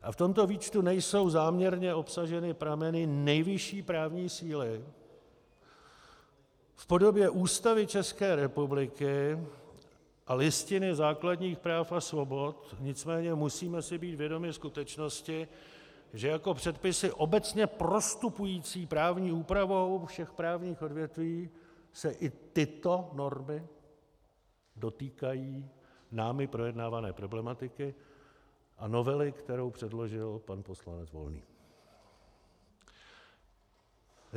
A v tomto výčtu nejsou záměrně obsaženy prameny nejvyšší právní síly v podobě Ústavy České republiky a Listiny základních práv a svobod, nicméně musíme si být vědomi skutečnosti, že jako předpisy obecně prostupující právní úpravou všech právních odvětví se i tyto normy dotýkají námi projednávané problematiky a novely, kterou předložil pan poslanec Volný.